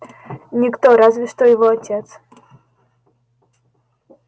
никто разве что его отец